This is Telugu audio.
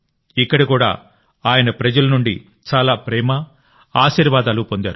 ఇక్కడ కూడా ఆయన ప్రజల నుండి చాలా ప్రేమ ఆశీర్వాదాలు పొందారు